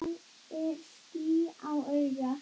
Hvað er ský á auga?